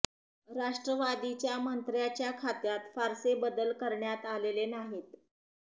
राष्ट्रवादीच्या मंत्र्यांच्या खात्यात फारसे बदल करण्यात आलेले नाहीत